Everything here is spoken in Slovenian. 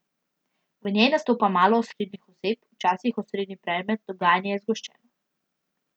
V njej nastopa malo osrednjih oseb, včasih osrednji predmet, dogajanje je zgoščeno.